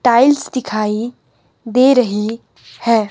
Tiles दिखाइ दे रही है।